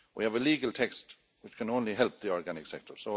We have a legal text which can only help the organic sector.